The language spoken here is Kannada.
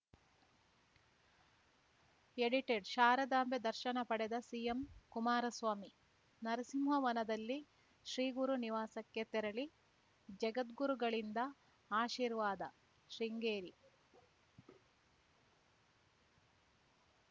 ಎಡಿಟೆಡ್‌ ಶಾರದಾಂಬೆ ದರ್ಶನ ಪಡೆದ ಸಿಎಂ ಕುಮಾರಸ್ವಾಮಿ ನರಸಿಂಹವನದಲ್ಲಿ ಶ್ರೀಗುರು ನಿವಾಸಕ್ಕೆ ತೆರಳಿ ಜಗದ್ಗುರುಗಳಿಂದ ಆಶೀರ್ವಾದ ಶೃಂಗೇರಿ